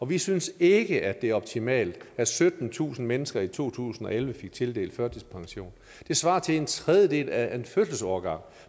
vi synes ikke det er optimalt at syttentusind mennesker i to tusind og elleve fik tildelt førtidspension det svarer til en tredjedel af en fødselsårgang